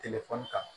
telefɔni kan